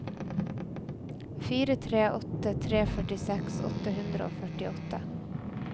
fire tre åtte tre førtiseks åtte hundre og førtiåtte